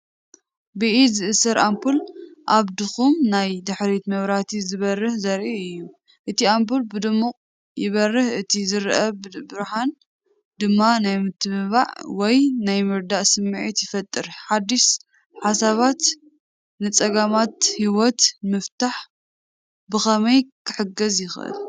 ብኢድ ዝእሰር ኣምፑል ኣብ ድኹም ናይ ድሕሪት መብራህቲ ዝበርህ ዘርኢ እዩ። እቲ ኣምፑል ብድሙቕ ይበርህ፣ እቲ ዝርአ ብርሃን ድማ ናይ ምትብባዕ ወይ ናይ ምርዳእ ስምዒት ይፈጥር። ሓድሽ ሓሳባት ንጸገማት ህይወት ንምፍታሕ ብኸመይ ኪሕግዝ ይኽእል፧